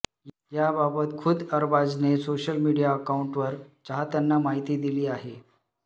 याबाबत खुद्द अरबाजने सोशल मीडिया अकाउंटवरुन चाहत्यांना माहिती दिली आहे